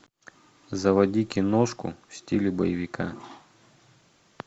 заводи киношку в стиле боевика